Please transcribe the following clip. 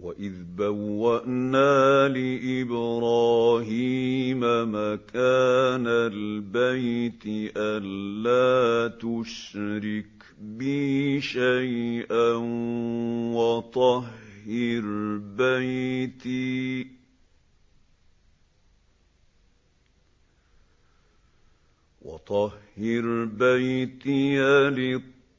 وَإِذْ بَوَّأْنَا لِإِبْرَاهِيمَ مَكَانَ الْبَيْتِ أَن لَّا تُشْرِكْ بِي شَيْئًا وَطَهِّرْ بَيْتِيَ